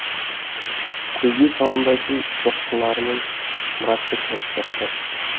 көзге шалынбайтын соққыларымен мұратты көміп тастады